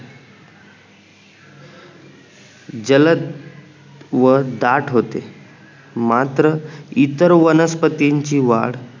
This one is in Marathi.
जलद व दाट होते मात्र इतर वनस्पतींची वाढ